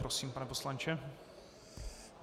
Prosím, pane poslanče.